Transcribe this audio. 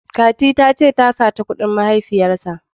Fati ta ce ka sata kudin mahaifiyar ka.